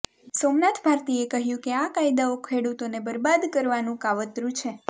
સોમનાથ ભારતીએ કહ્યું કે આ કાયદાઓ ખેડૂતોને બરબાદ કરવાનું કાવતરું છે